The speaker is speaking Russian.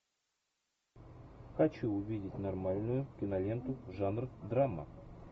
хочу увидеть нормальную киноленту жанр драма